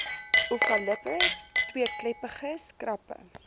ovalipes tweekleppiges krappe